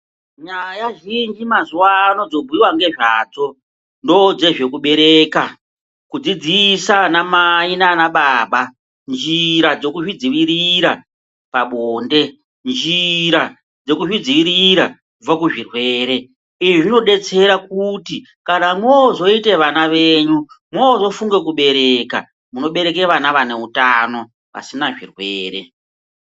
Nyaya zhinji mazuwano dzobhuyiwa ngezvadzo ndozvedzekubereka kudzidzisa anamai nanababa njira dzekuzvidzivirira pabonde , njira dzekuzvidzivirira kubva kuzvirwere izvi zvinodetsera kuti kana mwozoite vana zvenyu mwozofunga kubereka munobereka vana vane utano vasina zvirwere.